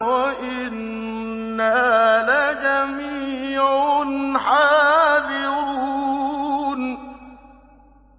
وَإِنَّا لَجَمِيعٌ حَاذِرُونَ